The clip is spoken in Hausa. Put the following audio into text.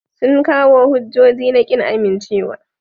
Sun kawo hujjoji na kin amincewa.